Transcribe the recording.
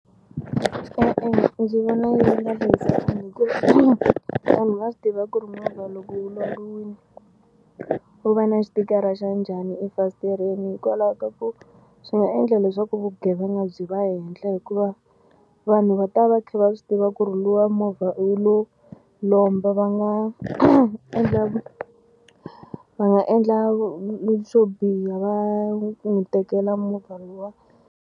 E-e ndzi vona yi nga hlayisekanga hikuva vanhu va swi tiva ku ri movha loko wu lombiwile wu va na xitikara xa njhani efasitereni hikwalaho ka ku swi nga endla leswaku vugevenga byi va henhla hikuva vanhu va ta va va kha va swi tiva ku ri luwa movha wu lo lomba va nga endla va nga endla swo biha va n'wi tekela movha luwa.